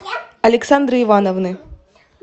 александры ивановны